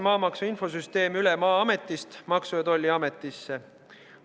Maamaksu infosüsteem viiakse Maa-ametist üle Maksu- ja Tolliametisse.